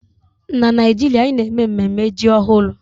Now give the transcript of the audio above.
Na Naijiria, anyị na-eme mmemme ji ọhụrụ